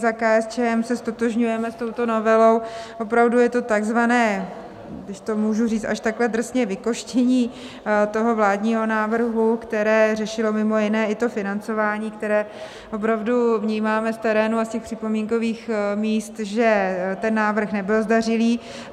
Za KSČM se ztotožňujeme s touto novelou, opravdu je to takzvané, když to můžu říct až takhle drsně, vykostění toho vládního návrhu, které řešilo mimo jiné i to financování, které opravdu vnímáme v terénu a z těch připomínkových míst, že ten návrh nebyl zdařilý.